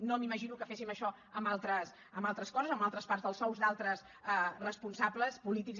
no m’imagino que féssim això amb altres coses amb altres parts dels sous d’altres responsables polítics